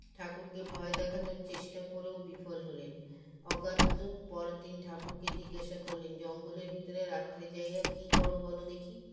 ঠাকুরকে ভয় দেখানোর চেষ্টা করেও বিফল হলেন অগাত্যু পরেরদিন ঠাকুরকে জিজ্ঞাসা করলেন জঙ্গলের ভিতরে রাত্রে যাইয়া কী করো বলো দেখি